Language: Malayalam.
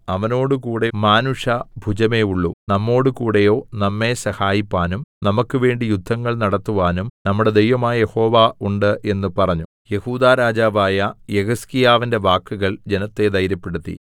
അവനോടുകൂടെ മാനുഷ ഭുജമേയുള്ളു നമ്മോടുകൂടെയോ നമ്മെ സഹായിപ്പാനും നമുക്കുവേണ്ടി യുദ്ധങ്ങൾ നടത്തുവാനും നമ്മുടെ ദൈവമായ യഹോവ ഉണ്ട് എന്ന് പറഞ്ഞു യെഹൂദാ രാജാവായ യെഹിസ്കീയാവിന്റെ വാക്കുകൾ ജനത്തെ ധൈര്യപ്പെടുത്തി